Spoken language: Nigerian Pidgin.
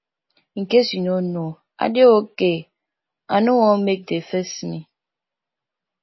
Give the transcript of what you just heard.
in case you no know i dey okay i no wan make de face me